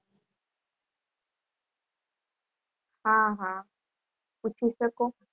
હા હા પૂછી શકો